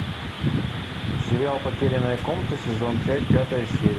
сериал потерянная комната сезон пять пятая серия